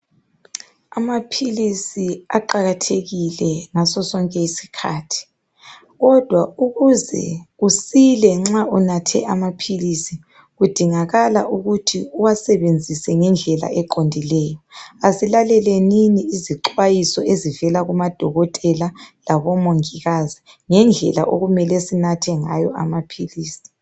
Amaphilisi aqakathekile ngaso sonke isikhathi, kodwa ukuze usile nxa unathe amaphilisi kudingakala ukuthi uwasebenzise ngendlela eqondileyo. Asilalelenini izixwayiso ezivela kumadokotela labomongikazi ngendlela okumele sinathe ngayo amaphilisi.